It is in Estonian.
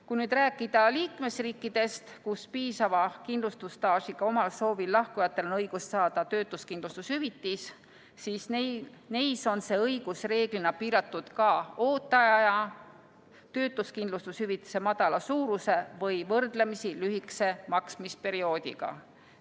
Kui nüüd rääkida liikmesriikidest, kus piisava kindlustusstaažiga omal soovil lahkujatel on õigus saada töötuskindlustushüvitist, siis neis on see õigus reeglina piiratud ka ooteaja, töötuskindlustushüvitise madala suuruse või võrdlemisi lühikese maksmisperioodiga.